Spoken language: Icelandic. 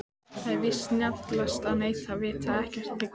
Það er víst snjallast að neita, vita ekkert, þegja.